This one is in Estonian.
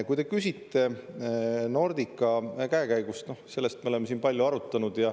Kui te küsite Nordica käekäigu kohta, siis selle üle me oleme siin palju arutanud.